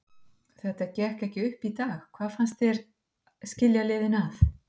Þetta gekk ekki upp í dag, hvað fannst þér skilja liðin að?